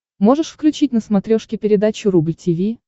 можешь включить на смотрешке передачу рубль ти ви